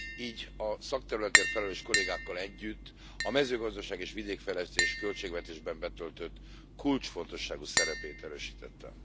Így a szakterületért felelős kollégákkal együtt a mezőgazdaság és vidékfejlesztés költségvetésben betöltött kulcsfontosságú szerepét erősítettem.